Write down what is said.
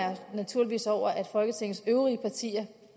naturligvis over at folketingets øvrige partier